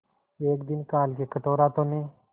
एक दिन काल के कठोर हाथों ने